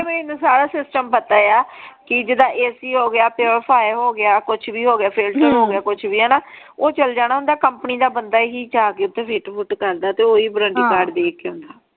ਮੈਨੂੰ ਸਾਰਾ ਸਿਸਟਮ ਪਤਾ ਆ ਕਿ ਜਿਦਾ AC ਹੋਗਿਆ ਪਿਓਰੀਫਾਇਰ ਹੋਗਿਆ ਕੁਛ ਵੀ ਹੋਗਿਆ ਫਿਲਟਰ ਹੋਗਿਆ ਕੁਛ ਵੀ ਹਾਨਾ ਊ ਚਲ ਜਾਣਾ ਹੁੰਦਾ ਕੰਪਨੀ ਦਾ ਬੰਦਾ ਹੀ ਜਾ ਕੇ ਓਥੇ ਫਿਟ ਫੁਟ ਕਰਦਾ ਤੇ ਉਹ ਹੀ ਵਰੰਟੀ ਕਾਰਡ ਦੇ ਕੇ ਆਉਂਦਾ।